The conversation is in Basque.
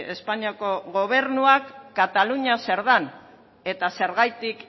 espainiako gobernuak katalunia zer den eta zergatik